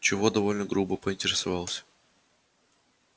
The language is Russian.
чего довольно грубо поинтересовался